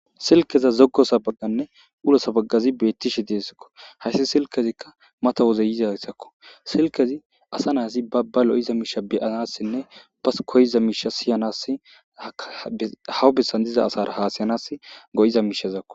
Silkeza zoggo sabagganne ulo sabagazi beettishe deessakko hayssi silkezikka mata wozeyiza yssakko silkezi asa naasi babba lo7iza miisha beyanassinne bas koyiza miisha siyanass hawu bessan diza asara haa siyanas go7iza miishazakko.